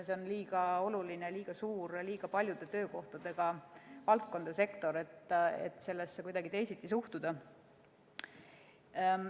See on liiga oluline, liiga suur, liiga paljude töökohtadega valdkond või sektor, et sellesse kuidagi teisiti suhtuda.